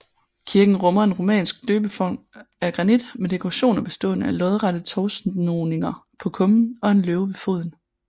Kirken rummer en romansk døbefont af granit med dekorationer bestående af lodrette tovsnoninger på kummen og en løve ved foden